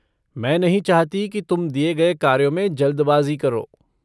मैं नहीं चाहती की तुम दिये गए कार्यों में जल्दबाज़ी करो।